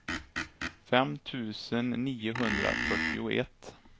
fem tusen niohundrafyrtioett